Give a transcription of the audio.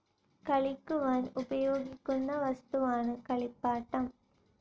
കളിക്കുവാൻ ഉപയോഗിക്കുന്ന വസ്തുവാണ് കളിപ്പാട്ടം.